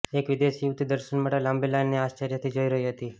એક વિદેશી યુવતી દર્શન માટે લાંબી લાઈનને આશ્ચર્યથી જોઈ રહી હતી